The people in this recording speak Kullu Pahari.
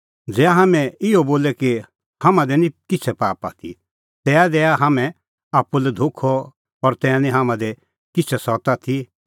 ज़ै हाम्हैं इहअ बोले कि हाम्हां दी निं किछ़ै पाप आथी तै दैआ हाम्हैं आप्पू लै धोखअ और तै निं हाम्हां दी किछ़ै सत्त आथी